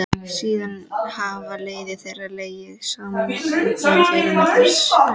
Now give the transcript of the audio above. Síðan hafa leiðir þeirra legið saman í Ungmennafélaginu þar sem